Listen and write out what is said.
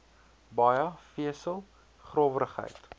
baie vesel growwerigheid